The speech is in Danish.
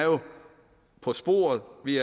på sporet vi